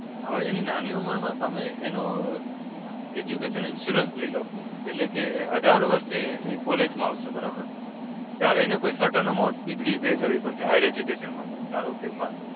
હવે એની નાની ઉંમરમાં તમે એનો Education Insurance લઈ લો એટલે કે એ અઢાર વર્ષે એ college માં આવશે. બરાબર? ત્યારે એને કોઈ certain amount ની fee pay કરવી પડશે. Higher Education માટે. ધારો કે એમાં